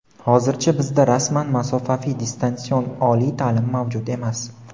hozircha bizda rasman masofaviy (distansion) oliy taʼlim mavjud emas.